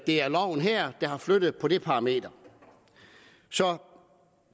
er loven her der har flyttet på det parameter så